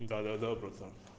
да да да братан